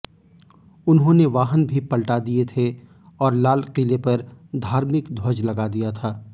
उन्होंने वाहन भी पलटा दिये थे और लाल किले पर धार्मिक ध्वज लगा दिया था